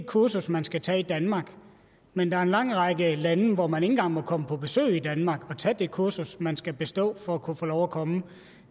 kursus man skal tage i danmark men der er en lang række lande hvor man ikke engang må komme på besøg i danmark og tage det kursus man skal bestå for at kunne få lov at komme